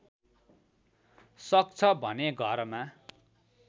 सक्छ भने घरमा